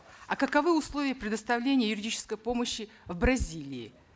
а каковы условия предоставления юридической помощи в бразилии